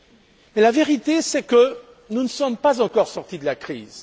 Mais la vérité, c'est que nous ne sommes pas encore sortis de la crise.